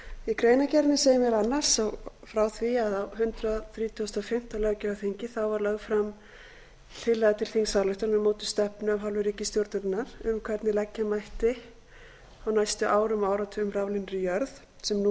í greinargerðinni segir meðal annars frá því að á hundrað þrítugasta og fimmta löggjafarþingi var lögð fram tillaga til þingsályktunar um mótun stefnu af hálfu ríkisstjórnarinnar um hvernig leggja mætti á næstu árum og áratugum raflínur í jörð sem nú eru